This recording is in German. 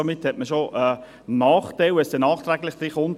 Somit hat man schon einen Nachteil, wenn es nachträglich hineinkommt.